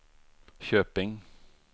Köping